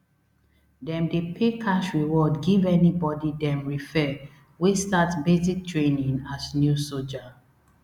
dem dey pay cash reward give anybody dem refer wey start basic training as new soja